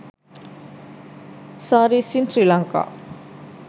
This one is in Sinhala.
sarees in srilanka